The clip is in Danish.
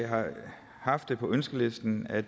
har haft på ønskelisten at